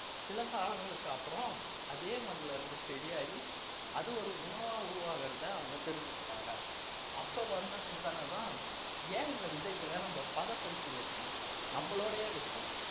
சில காலங்களுக்கு அப்புறம் அதே மண்ணிலிருந்து செடியாகி அது ஒரு உணவா உருவாகுறதை அவங்க தெரிஞ்சுக்கிட்டாங்க அப்ப வந்த சிந்தன தான் ஏன் இந்த விதைகளை நம்ம பதப்படுத்தி வச்சு நம்மளோடையே வச்சு